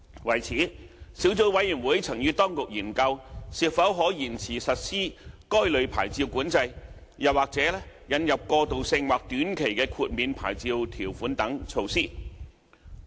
為此，小組委員會曾與當局研究是否可延遲實施該類牌照管制，又或引入過渡性或短期豁免牌照條款等措施。